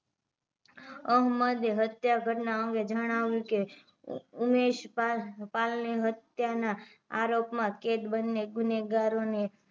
અહમદ એ હત્યા ઘટનાઅંગે જનાવ્યું કે ઉમેશ પાલ ની હત્યા ના અરોપ માં કેદ બંને ગુનેગારો ને